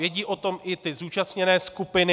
Vědí o tom i ty zúčastněné skupiny.